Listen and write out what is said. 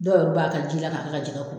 Dɔw b'a kɛ ji la k'a kɛ ka jɛgɛ ko.